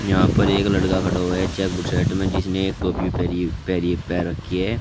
यहां पर एक लड़का खड़ा हुआ है चेक बु शर्ट में जिसने एक टोपी पैरी पैरी पहन रखी है।